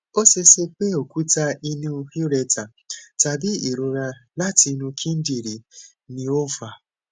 o ṣeese pe okuta inu ureter tabi irora lati inu kidinrin ni o n fa